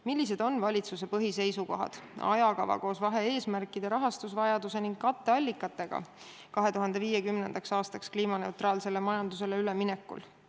Millised on valitsuse põhiseisukohad, ajakava koos vahe-eesmärkide, rahastusvajaduse ning katteallikatega 2050. aastaks kliimaneutraalsele majandusele üleminekul?